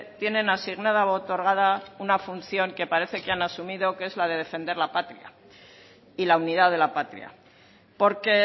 tienen asignada u otorgada una función que parece que han asumido que es la defender la patria y la unidad de la patria porque